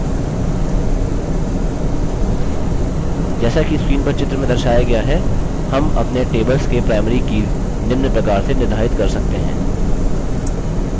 जैसा कि screen पर चित्र में दर्शाया गया है हम अपने tables के primary कीज़ निम्न प्रकार से निर्धारित कर सकते हैं: